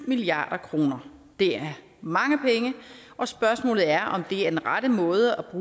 milliard kroner det er mange penge og spørgsmålet er om det er den rette måde